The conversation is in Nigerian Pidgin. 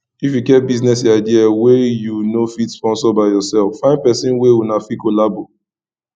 if you get business idea wey you no fit sponsor by yourself find person wey una fit collabo